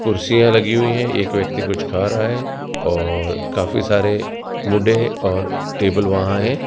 कुर्सियां लगी हुई है एक व्यक्ति कुछ खा रहा है और काफी सारे मुडे और टेबल वहां हैं।